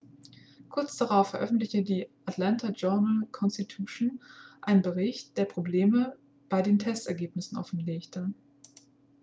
kurz darauf veröffentlichte the atlanta journal-constitution einen bericht der probleme bei den testergebnissen offenlegte.x